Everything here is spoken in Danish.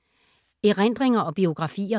Erindringer og biografier